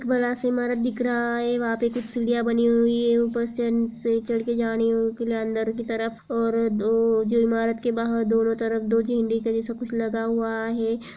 बड़ा सा इमारत दिख रहा है। वहाँ पर कुछ सीढ़िया बनी हुई है। ऊपर से चढ़ के अंदर के तरफ और इमारत के बहार दोनों तरफ दो झंडे सा कुछ लगा हुआ है।